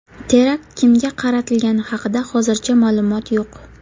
Terakt kimga qaratilgani haqida hozircha ma’lumot yo‘q.